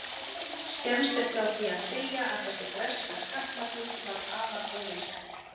Skemmst er frá því að segja að þessi breska skattlagning varð afar óvinsæl.